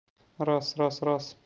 раз-раз-раз